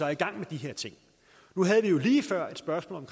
i gang med de her ting nu havde vi jo lige før et spørgsmål